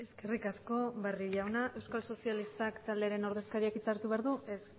eskerrik asko barrio jauna euskal sozialistak taldearen ordezkariak hitza hartu behar du ez